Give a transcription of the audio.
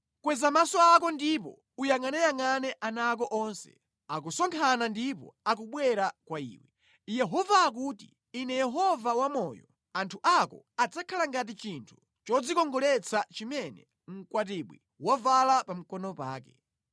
Kweza maso ako ndipo uyangʼaneyangʼane ana ako onse akusonkhana ndipo akubwera kwa iwe. Yehova akuti, ‘Ine Yehova wamoyo, anthu ako adzakhala ngati chinthu chodzikongoletsa chimene mkwatibwi wavala pa mkono pake.’